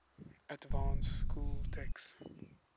advanced school text